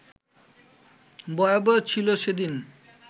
ভয়াবহ ছিল সেদিন